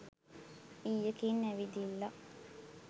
ඊයකින් ඇවිදිල්ලා